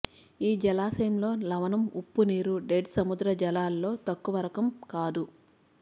ఈ జలాశయంలో లవణం ఉప్పునీరు డెడ్ సముద్ర జలాలలో తక్కువరకం కాదు